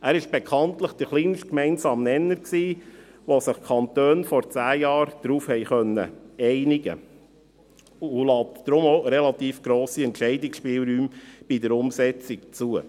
Er war bekanntlich der kleinste gemeinsame Nenner, auf den sich die Kantone vor zehn Jahren einigen konnten, und lässt deswegen auch relativ grosse Entscheidungsspielräume bei der Umsetzung zu.